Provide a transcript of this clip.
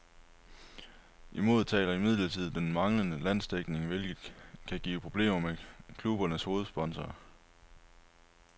Imod taler imidlertid den manglende landsdækning, hvilket kan give problemer med klubbernes hovedsponsorer.